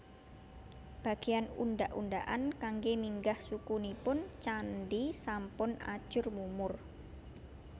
Bagéyan undhak undhakan kanggé minggah suku nipun candhi sampun ajur mumur